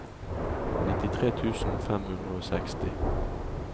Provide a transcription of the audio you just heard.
nittitre tusen fem hundre og seksti